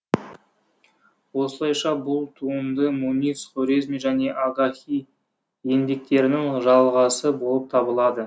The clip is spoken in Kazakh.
осылайша бұл туынды мунис хорезми және агахи еңбектерінің жалғасы болып табылады